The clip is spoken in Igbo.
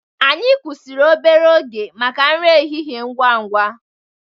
Anyị kwụsịrị obere oge maka nri ehihie ngwa ngwa.